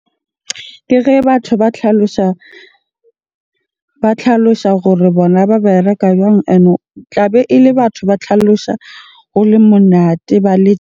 Ke ge batho ba tlhalosa, ba tlhalosa gore bona ba bereka jwang? Ene tlabe ele batho ba tlhalosa ho le monate ba le .